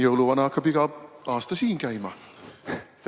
Jõuluvana hakkab iga aasta siin käima.